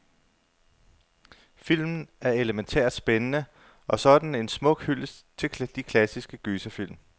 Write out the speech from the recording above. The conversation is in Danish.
Filmen er elemæntært spændende, og så er den en smuk hyldest til de klassiske gyserfilm.